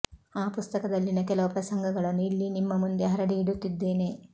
ಆ ಪುಸ್ತಕದಲ್ಲಿನ ಕೆಲವು ಪ್ರಸಂಗಗಳನ್ನು ಇಲ್ಲಿ ನಿಮ್ಮ ಮುಂದೆ ಹರಡಿ ಇಡುತ್ತಿದ್ದೇನೆ